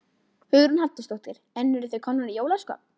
Hugrún Halldórsdóttir: En eruð þið komnar í jólaskap?